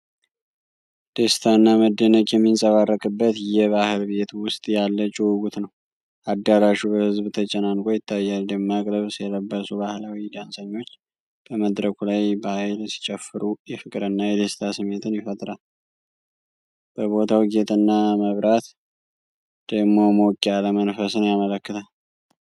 ደስታና መደነቅ የሚንጸባረቅበት የባህል ቤት ውስጥ ያለ ጭውውት ነው! አዳራሹ በህዝብ ተጨናንቆ ይታያል፤ ደማቅ ልብስ የለበሱ ባህላዊ ዳንሰኞች በመድረኩ ላይ በኃይል ሲጨፍሩ የፍቅርና የደስታ ስሜትን ይፈጥራሉ። የቦታው ጌጥና መብራት ደግሞ ሞቅ ያለ መንፈስን ያመለክታል።